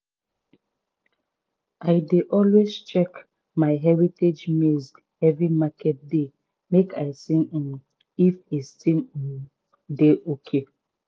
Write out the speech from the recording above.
i dey always check my heritage maize every market day make i see um if e still um dey ok.